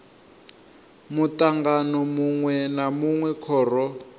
mutangano munwe na munwe khoro